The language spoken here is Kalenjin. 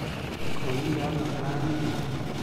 Koinde ano kilamit nyu?